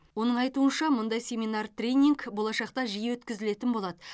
оның айтуынша мұндай семинар тренинг болашақта жиі өткізілетін болады